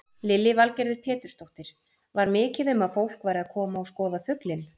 Lillý Valgerður Pétursdóttir: Var mikið um að fólk væri að koma að skoða fuglinn?